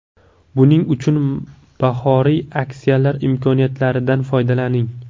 Buning uchun bahoriy aksiyalar imkoniyatlaridan foydalaning.